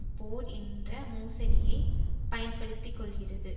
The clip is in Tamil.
போர் என்ற மோசடியை பயன்படுத்தி கொள்கிறது